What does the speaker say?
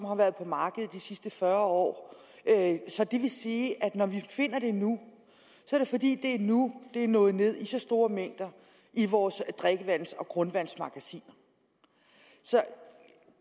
har været på markedet de sidste fyrre år så det vil sige at når vi finder det nu er det fordi det er nu det er nået ned i så store mængder i vores drikkevands og grundvandsmagasiner så